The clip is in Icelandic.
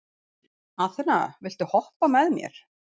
Aþena, viltu hoppa með mér?